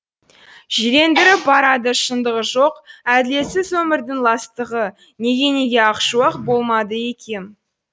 жирендіріп барады шындығы жоқ әділетсіз өмірдің ластығы неге неге ақ шуақ болмады екем